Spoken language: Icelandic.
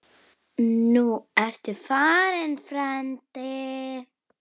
Nú ertu farinn, frændi.